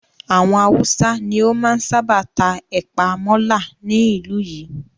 Àwọn Haúsá ni ó máa ń sábà ta ẹ̀pàa mọ́là ní ìlú yìí.